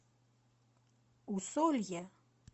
усолье